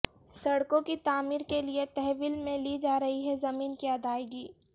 سڑکوں کی تعمیر کے لئے تحویل میں لی جارہی زمین کی ادائیگی